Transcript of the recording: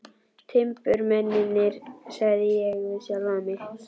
Timburmennirnir, sagði ég við sjálfan mig.